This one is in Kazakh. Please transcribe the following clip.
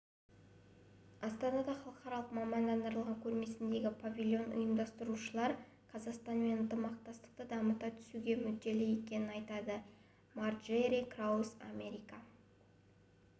астана халықаралық мамандандырылған көрмесіндегі павильонын ұйымдастырушылар қазақстанмен ынтымақтастықты дамыта түсуге мүдделі екенін айтады марджери краус америка